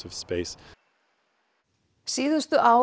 síðustu ár